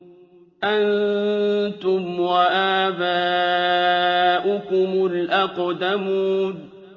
أَنتُمْ وَآبَاؤُكُمُ الْأَقْدَمُونَ